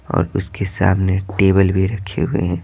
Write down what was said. और उसके सामने टेबल भी रखे हुए हैं।